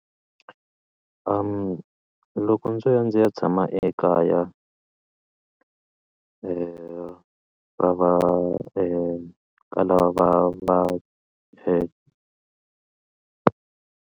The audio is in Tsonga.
Loko ndzi ya ndzi ya tshama ekaya va va ka lava va va .